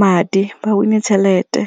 madi, ba win-e tšhelete.